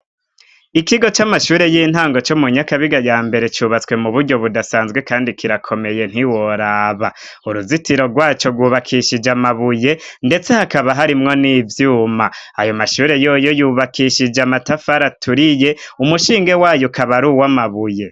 Ikigo c'amashure y'intango co mu nyakabiga ya mbere cubatswe mu buryo budasanzwe kandi kirakomeye ntiworaba, uruzitiro rwaco gubakishije amabuye ndetse hakaba harimwo n'ivyuma, ayo mashure yoyo yubakishije amatafar turiye umushinge wayo kaba ruwo amabuye.